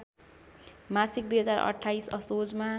मासिक २०२८ असोजमा